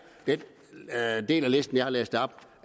den del af listen jeg har læst op